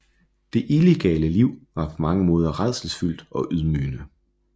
Det illegale liv var på mange måder rædselsfuldt og ydmygende